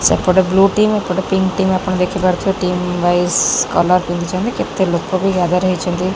ସେପଟେ ଦୁ ଟିମ ଏପଟେ ତିନ ଟିମ ଆପଣ ଦେଖି ପାରୁଥିବେ ଟିମ ୱାଇଜ କଲର ଦେଖୁଛନ୍ତି କେତେ ଲୋକବି ଜାଗାରେ ହେଇଛନ୍ତି।